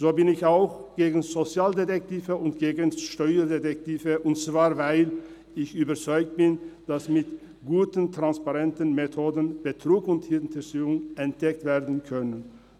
So bin ich auch gegen Sozialdetektive und gegen Steuerdetektive, und zwar weil ich überzeugt bin, dass mit guten, transparenten Methoden Betrug und Hinterziehung entdeckt werden können.